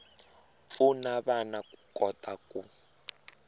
pfuna vana ku kota ku